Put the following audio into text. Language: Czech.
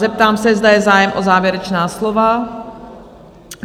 Zeptám se, zda je zájem o závěrečná slova?